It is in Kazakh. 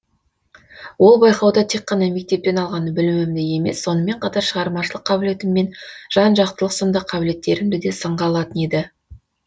ол байқауда тек қана мектептен алған білімімді емес сонымен қатар шығармашылық қабілетім мен жан жақтылық сынды қабілеттерімді да сынға алатын еді